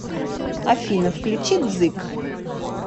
афина включи дзык